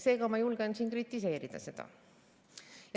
Seega ma julgen kritiseerida seda.